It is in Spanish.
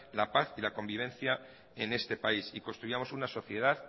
la paz y la convivencia en este país y construyamos una sociedad